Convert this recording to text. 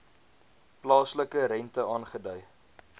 plaaslike rente aangedui